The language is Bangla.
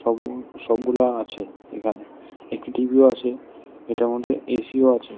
রুম সবগুলা আছে এখানে একটি টি_ভি ও আছে এটার মধ্যে এ_সি ও আছে।